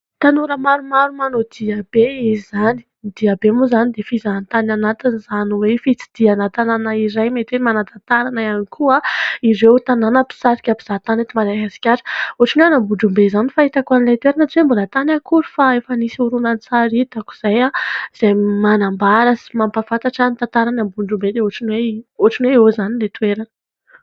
Tanora maromaro manao dia be izany. Ny dia be moa izany dia fizahantany anatiny izany hoe : fitsidihana tanàna iray mety hoe manatantara na ihany koa ireo tanàna mpisarika mpizahatany ety Madagasikara. Ohatriny hoe any Ambondrombe izany fahitako an'ilay toerana tsy hoe mbola tany akory fa efa nisy horonan-tsary hitako izay ; izay manambara sy mampahafantatra ny tantarana ambondrombe ohatriny hoe eo izany ilay toerana.